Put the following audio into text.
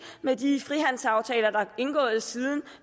med de frihandelsaftaler der er indgået siden